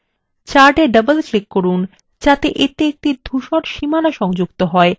chart a double click করুন যাতে এতে একটি ধূসর সীমানা সংযুক্ত হয়